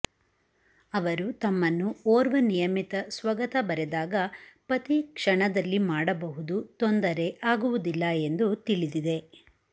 ಅವರು ತಮ್ಮನ್ನು ಓರ್ವ ನಿಯಮಿತ ಸ್ವಗತ ಬರೆದಾಗ ಪತಿ ಕ್ಷಣದಲ್ಲಿ ಮಾಡಬಹುದು ತೊಂದರೆ ಆಗುವುದಿಲ್ಲ ಎಂದು ತಿಳಿದಿದೆ